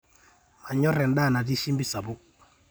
manyorr endaa natii shimbi sapuk